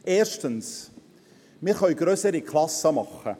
Erstens: Wir können grössere Klassen machen.